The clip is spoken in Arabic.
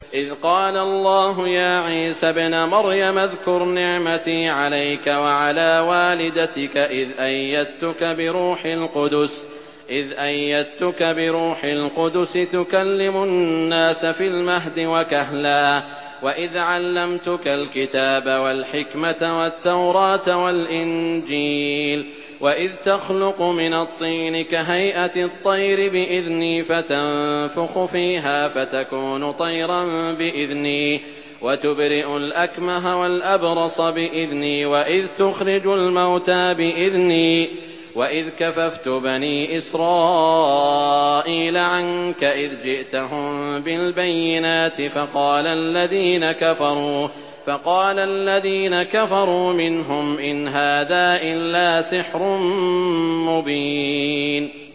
إِذْ قَالَ اللَّهُ يَا عِيسَى ابْنَ مَرْيَمَ اذْكُرْ نِعْمَتِي عَلَيْكَ وَعَلَىٰ وَالِدَتِكَ إِذْ أَيَّدتُّكَ بِرُوحِ الْقُدُسِ تُكَلِّمُ النَّاسَ فِي الْمَهْدِ وَكَهْلًا ۖ وَإِذْ عَلَّمْتُكَ الْكِتَابَ وَالْحِكْمَةَ وَالتَّوْرَاةَ وَالْإِنجِيلَ ۖ وَإِذْ تَخْلُقُ مِنَ الطِّينِ كَهَيْئَةِ الطَّيْرِ بِإِذْنِي فَتَنفُخُ فِيهَا فَتَكُونُ طَيْرًا بِإِذْنِي ۖ وَتُبْرِئُ الْأَكْمَهَ وَالْأَبْرَصَ بِإِذْنِي ۖ وَإِذْ تُخْرِجُ الْمَوْتَىٰ بِإِذْنِي ۖ وَإِذْ كَفَفْتُ بَنِي إِسْرَائِيلَ عَنكَ إِذْ جِئْتَهُم بِالْبَيِّنَاتِ فَقَالَ الَّذِينَ كَفَرُوا مِنْهُمْ إِنْ هَٰذَا إِلَّا سِحْرٌ مُّبِينٌ